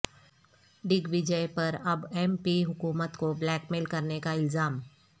ڈگ وجئے پر اب M P حکومت کو بلیک میل کرنے کا الزام